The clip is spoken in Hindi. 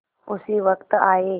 उसी वक्त आये